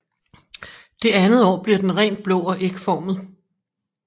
Det andet år bliver den rent blå og ægformet